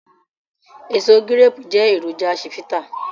Èso gíréépù jẹ́ èròjà chivita